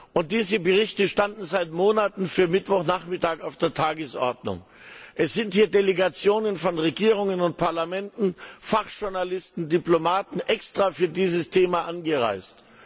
Und diese Berichte standen seit Monaten für Mittwochnachmittag auf der Tagesordnung. Delegationen von Regierungen und Parlamenten, Fachjournalisten und Diplomaten sind extra für dieses Thema angereist.